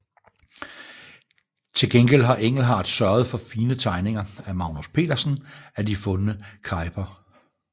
Til gengæld har Engelhardt sørget for fine tegninger af Magnus Petersen af de fundne kejper